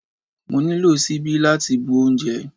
Mo nílò ṣíbí láti bu oúnjẹ.